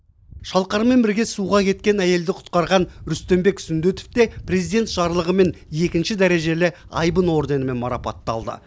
шалқармен бірге суға кеткен әйелді құтқарған рүстембек сүндетов те президент жарлығымен екінші дәрежелі айбын орденімен марапатталды